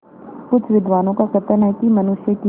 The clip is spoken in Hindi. कुछ विद्वानों का कथन है कि मनुष्य की